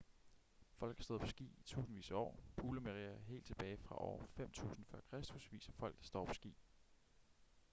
folk har stået på ski i tusindvis af år hulemalerier helt tilbage fra år 5.000 f.kr viser folk der står på ski